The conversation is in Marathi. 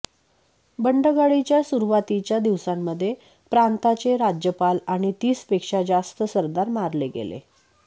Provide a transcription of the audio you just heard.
बंडगाडीच्या सुरुवातीच्या दिवसांमध्ये प्रांताचे राज्यपाल आणि तीस पेक्षा जास्त सरदार मारले गेले